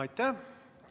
Aitäh!